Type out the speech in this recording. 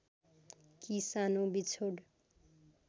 कि सानो बिछोड